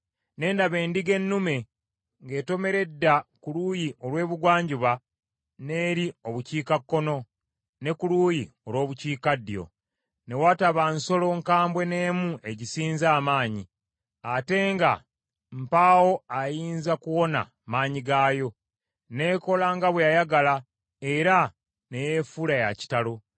Ne ndaba endiga ennume ng’etomera edda ku luuyi olw’ebugwanjuba n’eri obukiikakkono, ne ku luuyi olw’obukiikaddyo. Ne wataba nsolo nkambwe n’emu egisinza amaanyi, ate nga mpaawo ayinza kuwona maanyi gaayo. N’ekola nga bwe yayagala era ne yeefuula ya kitalo.